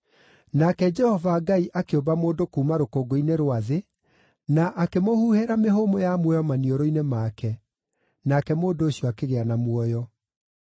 Nake Jehova Ngai akĩũmba mũndũ kuuma rũkũngũ-inĩ rwa thĩ, na akĩmũhuhĩra mĩhũmũ ya muoyo maniũrũ-inĩ make, nake mũndũ ũcio akĩgĩa na muoyo.